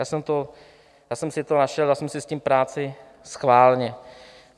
Já jsem si to našel, dal jsem si s tím práci schválně.